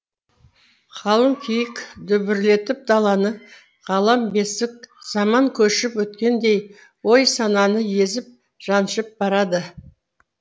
қалың киік дүбірлетіп даланы ғалам бесік заман көшіп өткендей ой сананы езіп жаншып барады